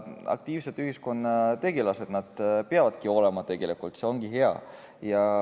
Aktiivsed ühiskonnategelased nad peavadki olema, see ongi hea.